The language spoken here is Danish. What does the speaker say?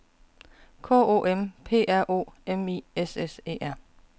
K O M P R O M I S S E R